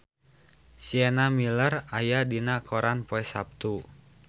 Sienna Miller aya dina koran poe Saptu